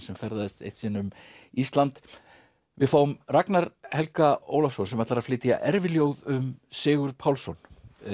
sem ferðaðist eitt sinn um Ísland við fáum Ragnar Helga Ólafsson sem ætlar að flytja erfiljóð um Sigurð Pálsson